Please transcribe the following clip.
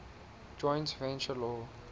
joint venture law